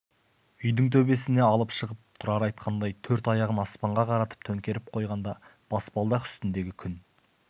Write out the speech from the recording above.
үйдің төбесіне алып шығып тұрар айтқандай төрт аяғын аспанға қаратып төңкеріп қойғанда баспалдақ үстіндегі күн